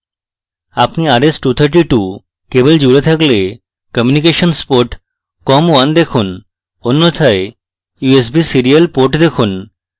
আপনি rs232 cable জুড়ে থাকলে communications port com1 দেখুন অন্যথায় usb serial port দেখুন